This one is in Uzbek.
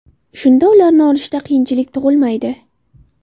Shunda ularni olishda qiyinchilik tug‘ilmaydi.